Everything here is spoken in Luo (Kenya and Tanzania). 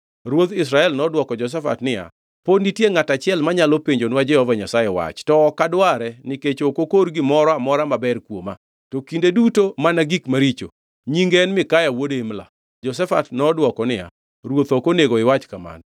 Ruodh Israel nodwoko Jehoshafat niya, “Pod nitie ngʼato achiel manyalo penjonwa Jehova Nyasaye wach, to ok adware nikech ok okor gimoro amora maber kuoma, to kinde duto mana gik maricho. Nyinge en Mikaya wuod Imla.” Jehoshafat nodwoko niya, “Ruoth ok onego iwach kamano.”